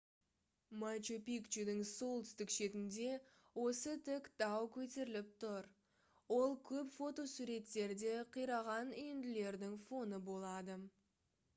мачу-пикчудың солтүстік шетінде осы тік тау көтеріліп тұр ол көп фотосуреттерде қираған үйінділердің фоны болады